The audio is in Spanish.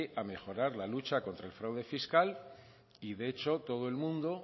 a mejorar la lucha contra el fraude fiscal y de hecho todo el mundo